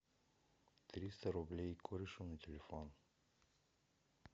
триста рублей корешу на телефон